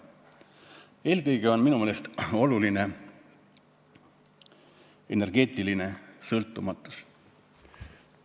Eelkõige on minu meelest oluline energeetiline sõltumatus.